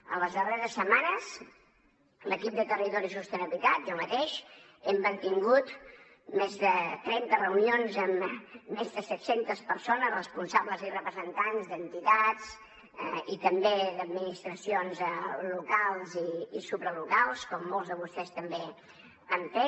en les darreres setmanes l’equip de territori i sostenibilitat jo mateix hem mantingut més de trenta reunions amb més de set centes persones responsables i representants d’entitats i també d’administracions locals i supralocals com molts de vostès també han fet